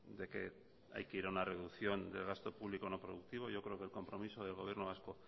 de que hay que ir a una reducción del gasto público no productivo yo creo que el compromiso del gobierno vasco